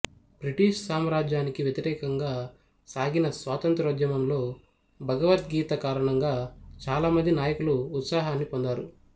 British సామ్రాజ్యానికి వ్యతిరేకంగా సాగిన స్వాతంత్రోద్యమంలో భగవత్గీత కారణంగా చాలా మంది నాయకులు ఉత్సాహాన్ని పొందారు